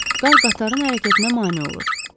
Qar qatarın hərəkətinə mane olur.